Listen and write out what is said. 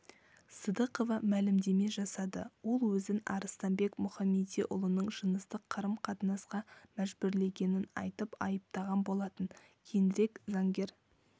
сыдықова мәлімдеме жасады ол өзін арыстанбек мұхамедиұлының жыныстық қарым-қатынасқа мәжбүрлегенін айтып айыптаған болатын кейінірек заңгер